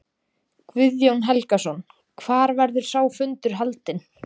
Guðjón Helgason: Hvar verður sá fundur haldinn?